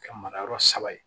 Kɛ mara yɔrɔ saba ye